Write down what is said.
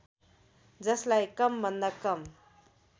जसलाई कमभन्दा कम